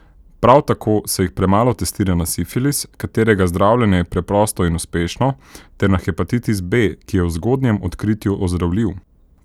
Prav tako se jih premalo testira na sifilis, katerega zdravljenje je preprosto in uspešno, ter na hepatitis B, ki je v zgodnjem odkritju ozdravljiv.